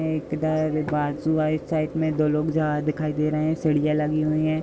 दो लोग जा दिखाई दे रहे हैं। सीढियां लगी हुई ऐं ।